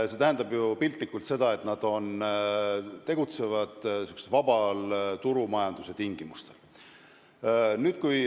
See tähendab piltlikult öeldes seda, et nad tegutsevad vaba turumajanduse tingimustel.